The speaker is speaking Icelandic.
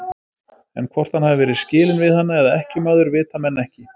En hvort hann hafi verið skilinn við hana eða ekkjumaður, vita menn ekki.